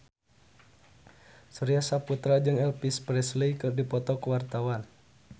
Surya Saputra jeung Elvis Presley keur dipoto ku wartawan